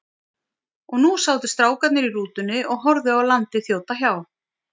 Og nú sátu strákarnir í rútunni og horfðu á landið þjóta hjá.